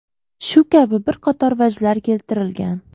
Shu kabi bir qator vajlar keltirilgan.